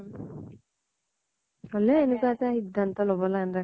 হʼলেও এনেকুৱা এটা সিধান্ত লʼব নালাগিছিল